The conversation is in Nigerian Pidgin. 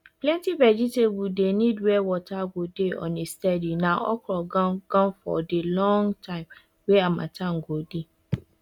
plenty vegetable dey need were water go dey on a steady na okro gan ganfor de long time wey harmattan go dey